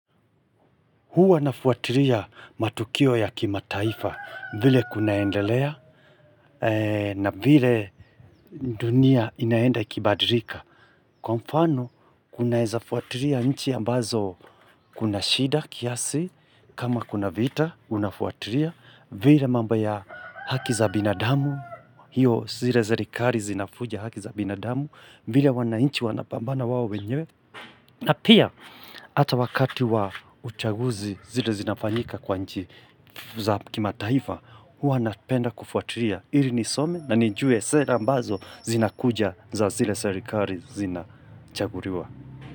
Huwa nafuatiria matukio ya kimataifa vile kunaendelea na vile dunia inaenda ikibadirika. Kwa mfano, kunaeza fuatiria nchi ambazo kuna shida kiasi, kama kuna vita, unafuatiria, vile mamba ya haki za binadamu, hio zile zarikari zinafuja haki za binadamu, vile wananchi wanapambana wao wenyewe. Na pia, ata wakati wa uchaguzi zile zinafanyika kwa nji za kimataifa, huwa napenda kufuatiria ili nisome na nijue sera ambazo zinakuja za zile serikari zinachaguriwa.